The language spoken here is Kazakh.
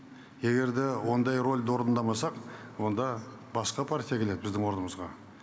егер де ондай рөлді орындамасақ онда басқа партия келеді біздің орнымызға